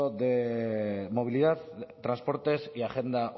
de movilidad transportes y agenda